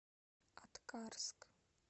аткарск